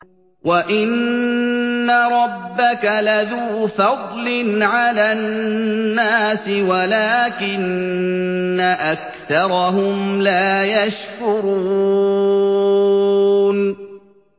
وَإِنَّ رَبَّكَ لَذُو فَضْلٍ عَلَى النَّاسِ وَلَٰكِنَّ أَكْثَرَهُمْ لَا يَشْكُرُونَ